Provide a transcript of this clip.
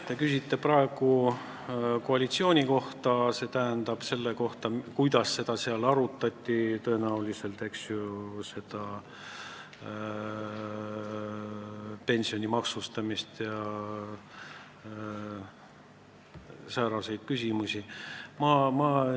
Te küsite praegu koalitsiooni kohta, st selle kohta, kuidas seda pensioni maksustamist ja sääraseid küsimusi seal tõenäoliselt arutati.